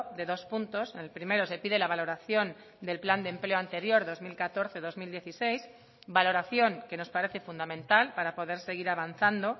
de dos puntos en el primero se pide la valoración del plan de empleo anterior dos mil catorce dos mil dieciséis valoración que nos parece fundamental para poder seguir avanzando